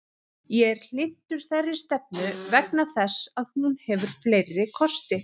Ég er hlynntur þeirri stefnu vegna þess að hún hefur fleiri kosti.